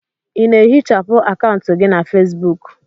Ị na-ehichapụ akaụntụ gị na Fesbuku?